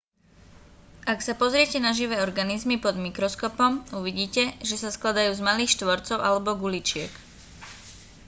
ak sa pozriete na živé organizmy pod mikroskopom uvidíte že sa skladajú z malých štvorcov alebo guličiek